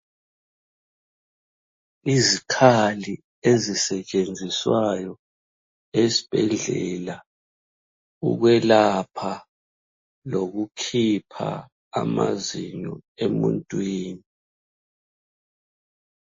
Izikhali ezisetshenziswayo esibhedlela, ukwelapha lokukhipha amazinyo emuntwini.